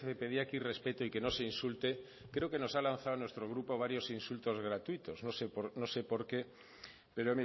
pedía aquí respeto y que no se insulte creo que nos ha lanzado a nuestro grupo varios insultos gratuitos no sé por qué pero